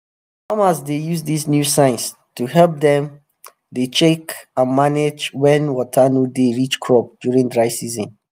farmers dey use dis new science to help dem dey check and manage wen water no dey reach crop during dry season